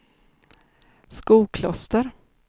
Skokloster